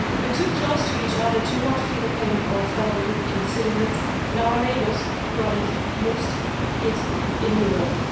We're too close to each other to not feel the pain of our fellow European citizens and our neighbours who are the most hit in Europe.